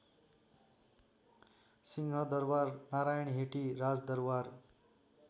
Singha Durbar Narayanhiti राजदरवार